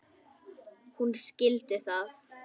Hún skildi það.